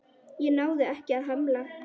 Ég náði ekki að hemla.